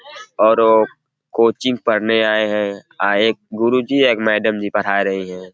और कोचिंग पढ़ने आए हैं और एक गुरु जी एक मैडम जी पढ़ा रही हैं।